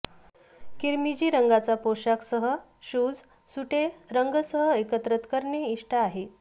किरमिजी रंगाचा पोशाख सह शूज सुटे रंग सह एकत्र करणे इष्ट आहेत